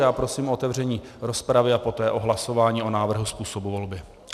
Já prosím o otevření rozpravy a poté o hlasování o návrhu způsobu volby.